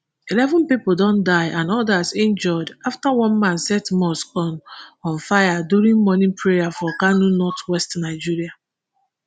eleven pipo don die and odas injure afta one man set mosque on on fire during morning prayer for kano north west nigeria